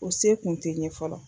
O se kun tɛ ye fɔlɔ